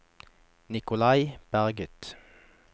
Nicolai Berget